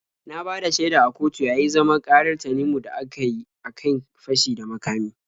Na bada shaida a kotu yayi zaman ƙarar Tanimu da aka kyi a kan fashi da makami.